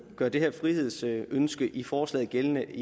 gøre det her frihedsønske i forslaget gældende